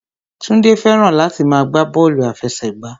Túndé fẹ́ràn láti máa gbá bọ́ọ̀lù àfẹsẹ̀gbá